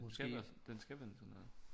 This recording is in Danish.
Den skal være sådan den skal vende sådan her